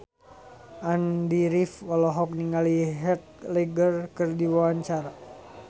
Andy rif olohok ningali Heath Ledger keur diwawancara